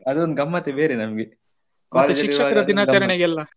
ಅದೊಂದು ಗಮ್ಮತ್ತೆ ಬೇರೆ ನಮಗೆ ಶಿಕ್ಷಕರ ದಿನಾಚರಣೆಗೆ ಎಲ್ಲ.